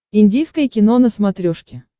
индийское кино на смотрешке